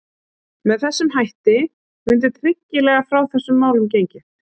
Með þessum hætti mundi tryggilega frá þessum málum gengið.